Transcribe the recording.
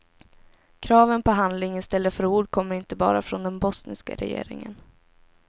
Kraven på handling istället för ord kommer inte bara från den bosniska regeringen.